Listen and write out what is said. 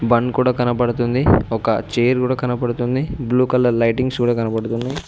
Bun కూడా కనపడుతుంది ఒక చైర్ కూడా కనపడుతుంది బ్లూ కలర్ లైటింగ్స్ కూడా కనపడుతున్నాయి.